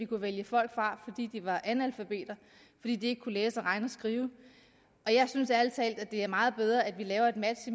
kunne vælge folk fra fordi de var analfabeter fordi de ikke kunne læse og regne og skrive og jeg synes ærlig talt det er meget bedre at vi laver et match